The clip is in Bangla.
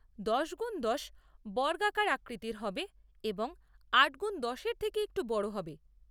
দশ গুণ দশ বর্গাকার আকৃতির হবে এবং আট গুণ দশ এর থেকে একটু বড় হবে।